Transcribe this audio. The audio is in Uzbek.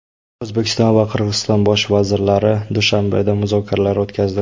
O‘zbekiston va Qirg‘iziston bosh vazirlari Dushanbeda muzokaralar o‘tkazdi.